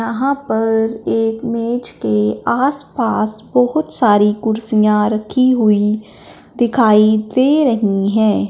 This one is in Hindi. यहां पर एक मेज के आसपास बहोत सारी कुर्सियां रखी हुईं दिखाई दे रही हैं।